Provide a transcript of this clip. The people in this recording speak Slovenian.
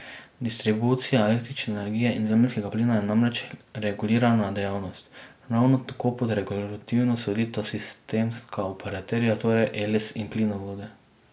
Distribucija električne energije in zemeljskega plina je namreč regulirana dejavnost, ravno tako pod regulativo sodita sistemska operaterja, torej Eles in Plinovodi.